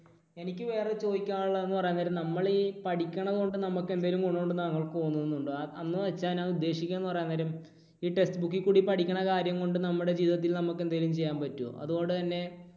എനിക്ക് വേറെ ചോദിക്കാനുള്ളത് എന്ന് പറയാൻ നേരം നമ്മൾ ഈ പഠിക്കണതുകൊണ്ട് നമുക്ക് എന്തെങ്കിലും ഗുണം ഉണ്ട് എന്ന് താങ്കൾക്ക് തോന്നുന്നുണ്ടോ? എന്നുവെച്ചാൽ ഞാൻ ഉദ്ദേശിക്കുന്നത് എന്ന് പറയാൻ നേരം ഈ text book ൽ കൂടി പഠിക്കണ കാര്യം കൊണ്ട് നമ്മുടെ ജീവിതത്തിൽ നമുക്ക് എന്തെങ്കിലും ചെയ്യാൻ പറ്റുമോ? അതുപോലെതന്നെ